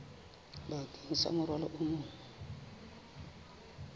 bakeng sa morwalo o mong